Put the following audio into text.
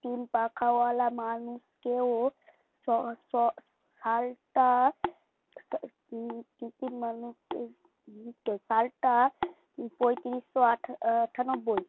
পাল্টা পঁয়ত্রিশশো আঠা আঠান্নব্বই